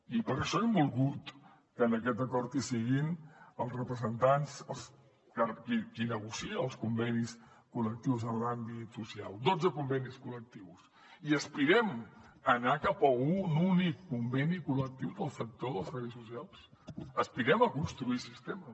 i per això hem volgut que en aquest acord hi siguin els representants qui negocia els convenis col·lectius en l’àmbit social dotze convenis col·lectius i aspirem a anar cap a un únic conveni col·lectiu del sector dels serveis socials aspirem a construir sistema